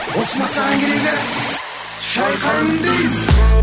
осы ма саған керегі